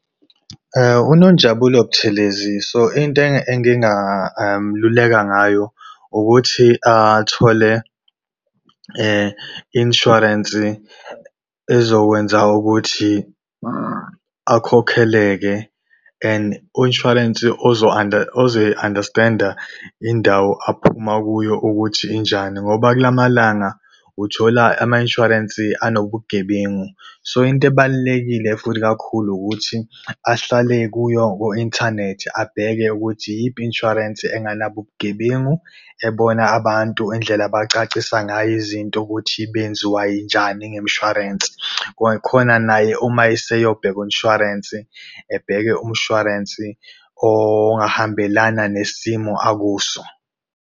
UNonjabulo Buthelezi, so into ngayo ukuthi athole insurance ezokwenza ukuthi akhokheleke and u-insurance uzoyi-understand-a indawo aphuma kuyo ukuthi injani ngoba kula malanga uthola ama-insurance anobugebengu. So, into ebalulekile futhi kakhulu ukuthi ahlale kuyo ku-inthanethi abheke ukuthi iyiphi i-insurance engenabo ubugebengu, ebona abantu indlela abacacisa ngayo izinto ukuthi benziwayinjani ngemshwarensi. Khona naye uma eseyobheka u-insurance ebheke umshwarensi ongahambelana nesimo akuso.